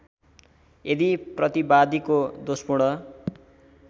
यदि प्रतिवादीको दोषपूर्ण